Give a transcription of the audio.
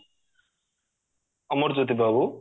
Amarjyoti ବାବୁ